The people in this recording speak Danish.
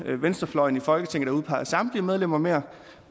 venstrefløjen i folketinget der udpeger samtlige medlemmer mere